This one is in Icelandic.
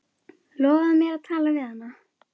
Lofaðu mér að tala við hana.